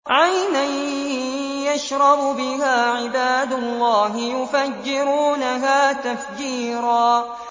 عَيْنًا يَشْرَبُ بِهَا عِبَادُ اللَّهِ يُفَجِّرُونَهَا تَفْجِيرًا